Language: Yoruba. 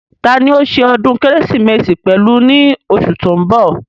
Tani òó se ọdún kérésìmesì pẹ̀lú ní osù tó ń bọ̀